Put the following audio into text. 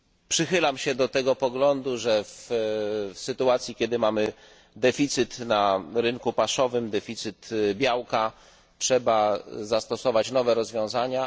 Przychylam się do poglądu, że w sytuacji, kiedy mamy deficyt na rynku paszowym, deficyt białka, trzeba zastosować nowe rozwiązania.